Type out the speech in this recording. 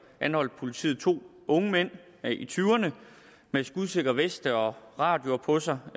anholdt politiet to unge mænd i tyverne med skudsikre veste og radioer på sig